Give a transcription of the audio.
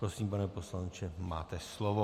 Prosím, pane poslanče, máte slovo.